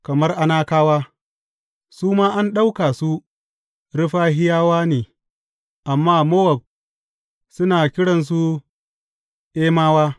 Kamar Anakawa, su ma an ɗauka su Refahiyawa ne, amma Mowab suna kiransu Emawa.